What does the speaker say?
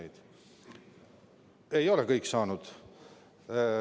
Kõik ei ole saanud.